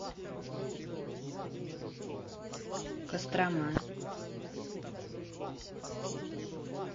кострома